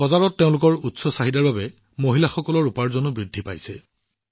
বজাৰত এইসমূহৰ যথেষ্ট চাহিদাৰ বাবে মহিলাসকলৰ উপাৰ্জনো বৃদ্ধি পাইছে